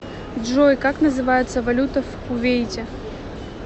джой как называется валюта в кувейте